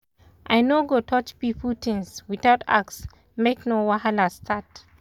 i no go touch pipo things without ask make no wahala start.